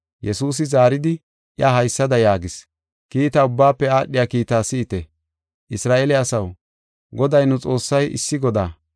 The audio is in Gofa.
Yesuusi zaaridi, iya haysada yaagis: “Kiita ubbaafe aadhiya kiitaa si7ite; ‘Isra7eele asaw, Goday nu Xoossay issi Godaa.